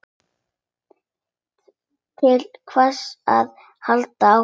Til hvers að halda áfram?